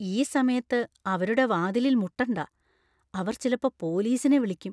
ഈ സമയത്ത് അവരുടെ വാതിലിൽ മുട്ടണ്ട. അവർ ചിലപ്പോ പോലീസിനെ വിളിയ്ക്കും .